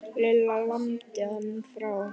Lilla lamdi hann frá.